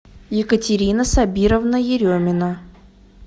екатерина сабировна еремина